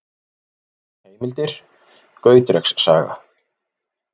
Heimildir: Gautreks saga.